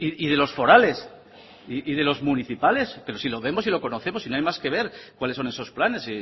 y de los forales y de los municipales pero si lo vemos y lo conocemos si no hay más que ver cuáles son esos planes